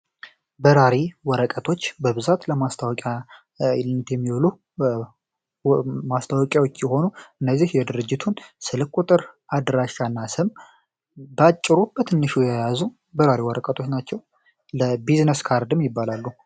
በራሪ ወረቀቶች በብዛት ለማስታወቂያ ውልነት የሚወሉ ማስታወቂያዎች የሆኑ እነዚህ የድርጅቱን ስልክ ቁጥር፣ አድራሻና ስም በአጭሩ በትንሹ ያያዙ በራሪ ወረቀቶች ናቸው። ለቢዝነስ ካርድም ይባላሉ።